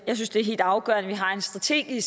er i